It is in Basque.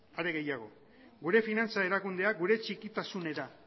are gehiago gure finantza erakundeak gure txikitasunera